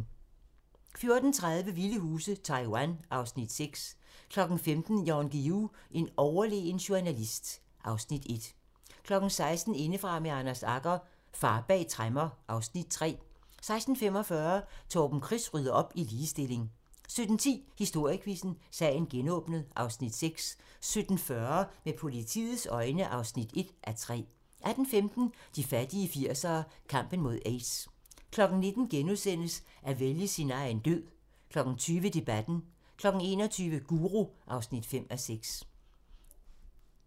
14:30: Vilde huse - Taiwan (Afs. 6) 15:00: Jan Guillou - en overlegen journalist (Afs. 1) 16:00: Indefra med Anders Agger - Far bag tremmer (Afs. 3) 16:45: Torben Chris rydder op i ligestilling 17:10: Historiequizzen: Sagen genåbnet (Afs. 6) 17:40: Med politiets øjne (1:3) 18:15: De fattige 80'ere: Kampen mod aids 19:00: At vælge sin egen død * 20:00: Debatten 21:00: Guru (5:6)